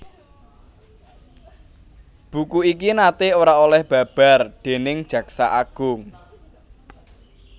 Buku iki naté ora oleh babar déning Jaksa Agung